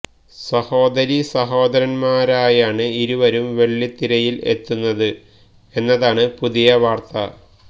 സഹോദരി സഹോദരന്മാരായാണ് ഇരുവരും വെള്ളിത്തിരയില് എത്തുന്നത് എന്നതാണ് പുതിയ വാര്ത്ത